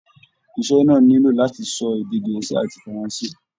Iṣẹ náà nilo láti lè sọ èdè gẹ̀ẹ́sì àti faranse.